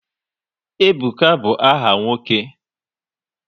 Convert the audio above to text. Ebuka bụ áhà nwoke